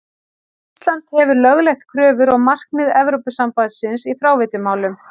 Ísland hefur lögleitt kröfur og markmið Evrópusambandsins í fráveitumálum.